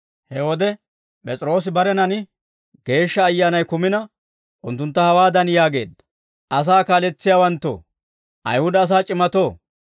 He wode P'es'iroosi barenan Geeshsha Ayyaanay kumina, unttuntta hawaadan yaageedda; «Asaa kaaletsiyaawanttoo, Ayihuda asaa c'imatoo,